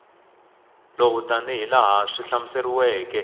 lowu tanihi laha swi hlamuseriweke